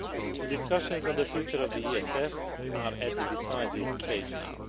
The discussions on the future of the ESF are at a decisive stage now.